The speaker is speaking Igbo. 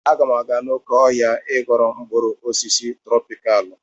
Aga m aga n'oké ọhịa I ghọrọ mkpụrụ osisi trọpikalụ